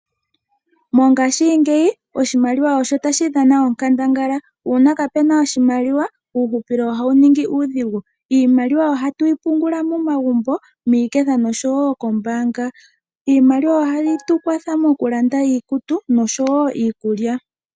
Mongaashingeyi oshimaliwa osho tashi dhana onkandangala, uuna kaa puna oshimaliwa uuhupilo ohawu ningi uudhigu. Iimaliwa ohatu yi pungula momagumbo, miiketha noshowo kombaanga. Iimaliwa ohayi tu kwatha moku landa iikutu noshowo iikulya.